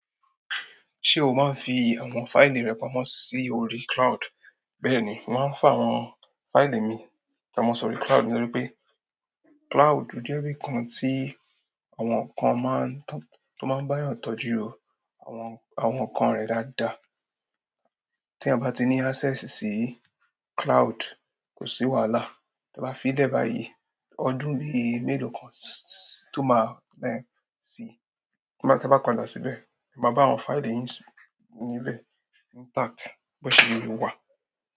Ṣé o máa ń fi àwọn fáìlì rẹ pamọ́ sí orí cloud? Bẹ́ẹ̀ ni, mo mas ń fa àwọn fáìlì mi pamọ́ sí orí cloud nítorí pé cloud je ibí i kan tí àwọn kan máa ń, tó máa ń bá ọ tọ́jú àwọn, àwọn ǹkan rẹ̀ dáadáa. Tí a bá ti ní access sí cloud, kò sí wàhálà. Tí a bá fi lẹ́ báyìí, ọdún bí i mélòó kan tó má a lẹ́ ẹ̀ sì, tí bá, tí a bá padà síbẹ̀, a máa bá àwọn fáìlì yín nílẹ̀ intact, bó ṣe le wà.